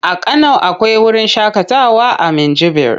A Kano akwai wurin shaƙatawa na Minjibir.